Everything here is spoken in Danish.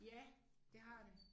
Ja det har det